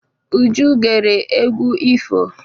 Uju gere egwu ifo.